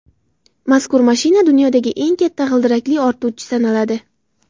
Mazkur mashina dunyodagi eng katta g‘ildirakli ortuvchi sanaladi.